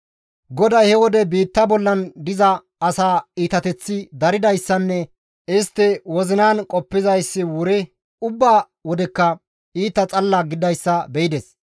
GODAY he wode biitta bollan diza asaa iitateththi daridayssanne istti ba wozinan qoppizayssi wuri ubba wodekka iita xalala gididayssa be7ides;